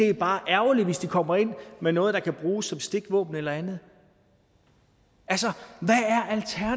det bare er ærgerligt hvis de kommer ind med noget der kan bruges som stikvåben eller andet altså